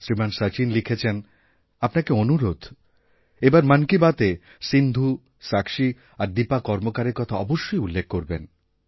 শ্রীমান শচীন লিখেছেনআপনাকে অনুরোধ এবার মন কি বাতএ সিন্ধু সাক্ষী আর দীপা কর্মকারের কথা অবশ্যইউল্লেখ করবেন